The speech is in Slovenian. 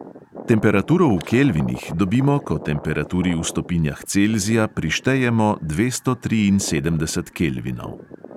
Temperaturo v kelvinih dobimo, ko temperaturi v stopinjah celzija prištejemo dvesto triinsedemdeset kelvinov.